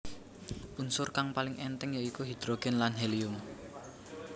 Unsur kang paling èntheng ya iku hidrogen lan helium